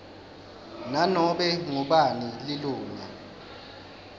nanobe ngubani lilunga